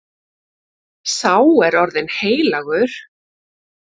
Sá er orðinn heilagur.